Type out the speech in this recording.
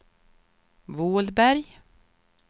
Vålberg